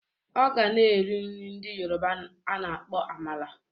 Ọ ga-na eri nri ndị Yoroba a na-akpọ amala